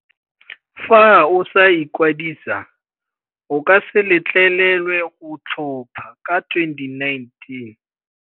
Fa o sa ikwadisa, o ka se letlelelwe go tlhopha ka 2019.